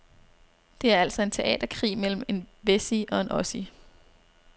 Det er altså en teaterkrig mellem en wessie og en ossie.